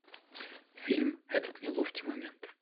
фильм этот неловкий момент